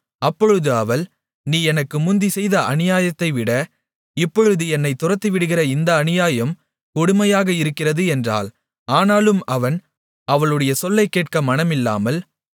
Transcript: அப்பொழுது அவள் நீ எனக்கு முந்தி செய்த அநியாயத்தைவிட இப்பொழுது என்னைத் துரத்திவிடுகிற இந்த அநியாயம் கொடுமையாக இருக்கிறது என்றாள் ஆனாலும் அவன் அவளுடைய சொல்லைக் கேட்க மனமில்லாமல்